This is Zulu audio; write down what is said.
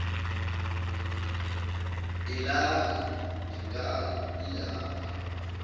delana ngenkani ilapho